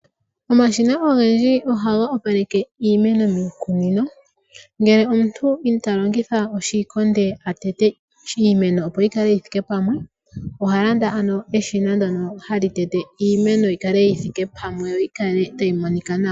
Omashina ogendji ohaga opaleke iimeno miikunino ngele omuntu ita longitha oshikonde shoku teta iimeno opo yi kale yi thike pamwe oha landa eshina opo iimeno yi kale yi shike pamwe to yi kale tayi monika nawa.